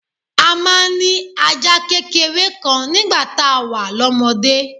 A máa ń ní ajá kékeré kan nígbà tá a wà lọ́mọdé